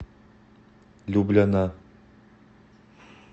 любляна